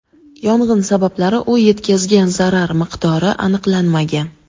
Yong‘in sabablari u yetkazgan zarar miqdori aniqlanmagan.